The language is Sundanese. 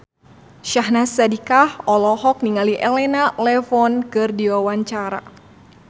Syahnaz Sadiqah olohok ningali Elena Levon keur diwawancara